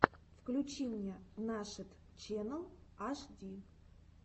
включи мне нашид ченнал аш ди